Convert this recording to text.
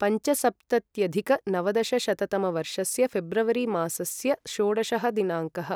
पञ्चसप्तत्यधिकनवदशशततमवर्षस्य ऴेब्रवरि मासस्य षोडशः दिनाङ्कः